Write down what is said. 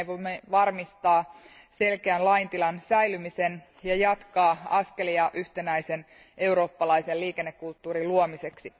Näin voimme varmistaa selkeän laintilan säilymisen ja jatkaa askelia yhtenäisen eurooppalaisen liikennekulttuurin luomiseksi.